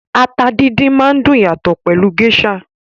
Ata díndín máa dùn yàtọ̀ pẹlú Gééṣà.